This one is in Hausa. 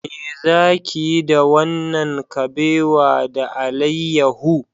Me za ki yi da wannan kabewa da alayyahu?